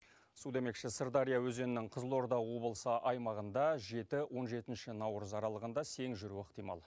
су демекші сырдария өзенінің қызылорда облысы аймағында жеті он жетінші наурыз аралығында сең жүруі ықтимал